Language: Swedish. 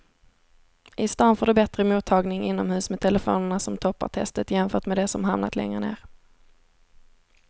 I stan får du bättre mottagning inomhus med telefonerna som toppar testet jämfört med de som hamnat längre ner.